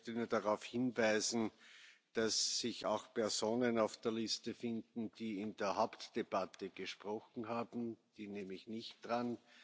Ich möchte nur darauf hinweisen, dass sich auch Personen auf der Liste finden, die in der Hauptdebatte gesprochen haben, die nehme ich nicht dran.